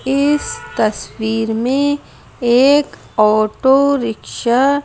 इस तस्वीर में एक ऑटो रिक्शा --